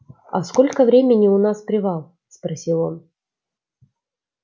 а сколько времени у нас привал спросил он